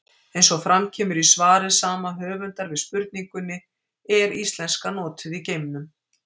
Eins og fram kemur í svari sama höfundar við spurningunni Er íslenska notuð í geimnum?